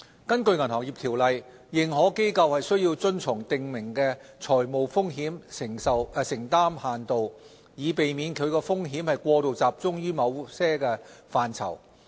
根據《銀行業條例》，認可機構須遵從訂明的財務風險承擔限度，以避免其風險過度集中於某些範疇。